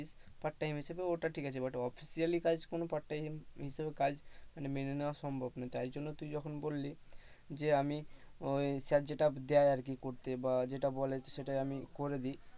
parttime হিসাবে ওটা ঠিক আছে, but officially কোনো কাজ part time হিসাবে কোনো কাজ মেনে নেওয়া সম্ভব নয়, তাই জন্য তুই যখন বললি যে আমি ওই স্যার যেইটা দেয় আর কি করতে বা যেইটা বলে সেইটা আমি করে দি,